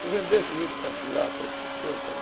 Tu vendeste juto particular para outra pessoa e tal?